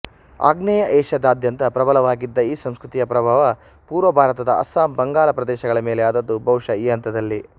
ಆಗ್ನೇಯ ಏಷ್ಯದಾದ್ಯಂತ ಪ್ರಬಲವಾಗಿದ್ದ ಈ ಸಂಸ್ಕೃತಿಯ ಪ್ರಭಾವ ಪುರ್ವಭಾರತದ ಅಸ್ಸಾಂ ಬಂಗಾಲ ಪ್ರದೇಶಗಳ ಮೇಲೆ ಆದದ್ದು ಬಹುಶಃ ಈ ಹಂತದಲ್ಲೆ